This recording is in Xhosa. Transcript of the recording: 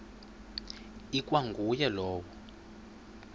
ikwa nguye lowo